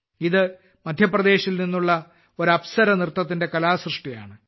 ഇത് മധ്യപ്രദേശിൽ നിന്നുള്ള ഒരു അപ്സര നൃത്തത്തിന്റെ കലാസൃഷ്ടിയാണ്